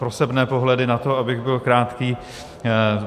Prosebné pohledy na to, abych byl krátký.